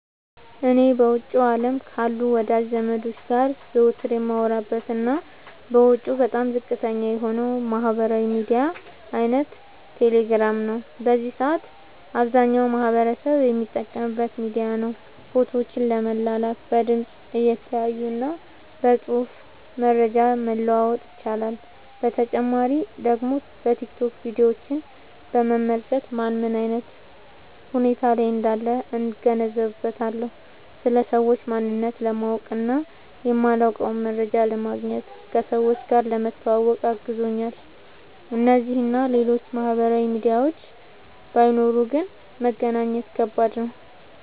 እኔ በውጭው አለም ካሉ ወዳጅ ዘመዶቸ ጋር ዘወትር የማወራበት እና ወጪው በጣም ዝቅተኛ የሆነው የማህበራዊ ሚዲያ አይነት ቴሌግራም ነው። በዚህ ሰአት አብዛኛው ማህበረሰብ የሚጠቀምበት ሚዲያ ነው። ፎቶዎችን ለመላላክ፣ በድምፅ(እየተያዩ) እና በፅሁፍ መረጃ መለዋወጥ ይቻላል። በተጨማሪ ደግሞ በቲክቶክ ቪዲዮችን በመመልከት ማን ምን አይነት ሁኔታ ላይ እንዳለ እገነዘብበታለሁ። ስለ ሰዎች ማንነት ለማወቅ እና የማላውቀውን መረጃ ለማግኘት፣ ከሰዎች ጋር ለመተዋወቅ አግዞኛል። እነዚህ እና ሌሎችም ማህበራዊ ሚዲያዎች ባይኖሩ ግን መገናኘት ከባድ ነበር።